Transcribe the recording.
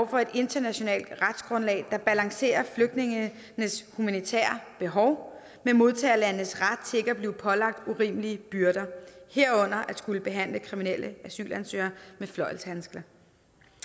for et internationalt retsgrundlag der balancerer flygtningenes humanitære behov med modtagerlandenes ret til ikke at blive pålagt urimelige byrder herunder at skulle behandle kriminelle asylansøgere med fløjlshandsker